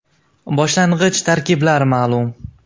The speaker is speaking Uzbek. Boshlang‘ich tarkiblar ma’lum.